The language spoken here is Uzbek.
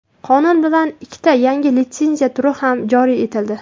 Qonun bilan ikkita yangi litsenziya turi ham joriy etildi.